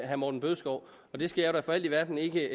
herre morten bødskov og den skal jeg da for alt i verden ikke